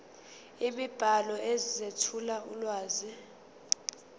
imibhalo ezethula ulwazi